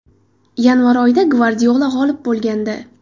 Yanvar oyida Gvardiola g‘olib bo‘lgandi.